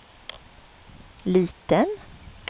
liten